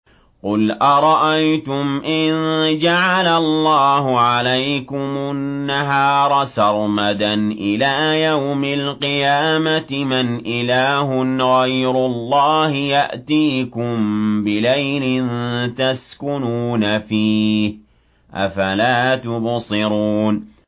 قُلْ أَرَأَيْتُمْ إِن جَعَلَ اللَّهُ عَلَيْكُمُ النَّهَارَ سَرْمَدًا إِلَىٰ يَوْمِ الْقِيَامَةِ مَنْ إِلَٰهٌ غَيْرُ اللَّهِ يَأْتِيكُم بِلَيْلٍ تَسْكُنُونَ فِيهِ ۖ أَفَلَا تُبْصِرُونَ